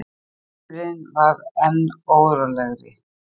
Drumburinn varð enn órólegri.